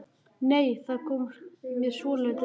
Nei! Það kom mér svolítið á óvart!